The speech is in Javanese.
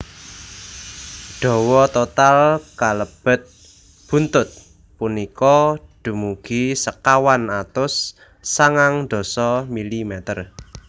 Dawa total kalebet buntut punika dumugi sekawan atus sangang dasa mm